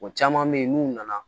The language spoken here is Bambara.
O caman bɛ yen n'u nana